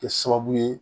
Kɛ sababu ye